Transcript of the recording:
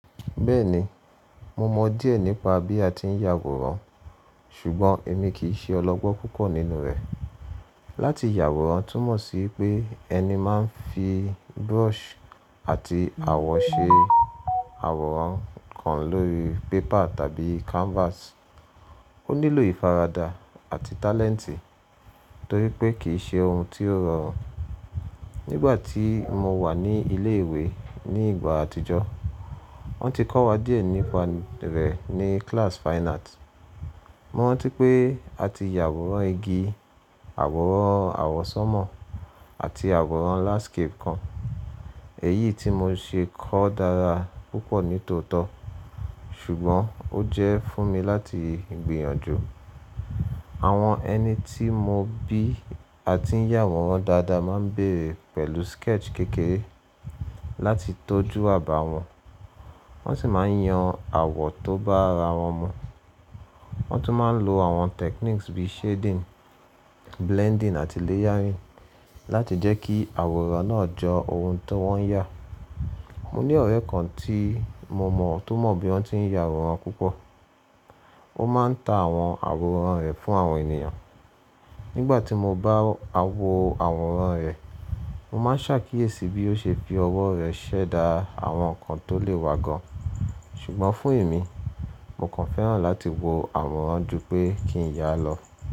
Bẹ́ẹ̀ni, mo mọ díẹ̀ nípa bí a ti ń yàwòrán ṣùgbọ́n èmi kì í ṣe ọlọ́gbọ́n púpọ̀ nínú rẹ̀. Láti yàwòrán túmọ̀ sí pé ẹni máa ń fi brush àti àwọ̀ ṣe àwòrán kan lórí paper tàbí canvas. Ó nílò ìfaradà àti talent torí pé kì í ṣe ohun tó rọrùn. Nígbà tí mo wà ní ilé ìwé ní ìgbà àtijọ́, wọ́n ti kọ́ wa díẹ̀ nípa rẹ̀ ní class fine art. Mo rántí pé a ti yàwòrán igi, àwòrán àwọ́sánmọ̀ àti àwòrán landscape kan. Èyí tí mo ṣe kọ́ dára púpọ̀ nítòótọ́ ṣùgbọ́n ó jẹ́ fún mi láti gbìyànjú. Àwọn ẹni tí mo bí a ti ń yàwòrán dáadáa máa ń bẹ̀rẹ̀ pẹ̀lú sketch kékeré láti tọ́jú àbàwọ́n. Wọ́n sì máa ń yan àwọ̀ tó bá ara wọn mọ. Wọ́n tún máa ń lo àwọn techniques bíi shading, blending àti layering láti jẹ́ kí àwòrán náà jọ ohun ti wọ́n yà. Mo ní ọ̀rẹ́ kan tí mo mọ̀ tó mọ bí wọ́n ti ń yàwòrán púpọ̀. Ó máa ń ta àwọn àwòrán rẹ̀ fún àwọn ènìyàn. Nígbà tí mo bá wo àwòrán rẹ̀, mo máa ṣàkíyèsí bí ó ṣe fi ọwọ́ rẹ̀ ṣẹ̀dá àwọn nǹkan tó lè wa gan. Ṣùgbọ́n fún èmi, mo kàn fẹ́ràn láti wo àwòrán ju pé kí n yà lọ.